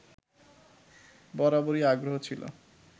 বরাবরই আগ্রহ ছিল